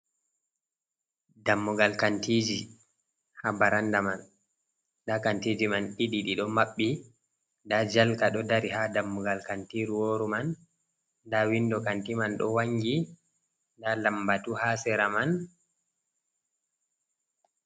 Dammugal kantiji ha baranda man, nda kantiji man ɗiɗi ɗiɗo maɓɓi, nda jalka ɗo dari ha dammugal kantiru woru man, nda windo kanti man ɗo wangi, nda lambatu ha sera man.